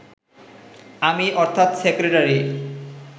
আমি, অর্থাৎ সেক্রেটারি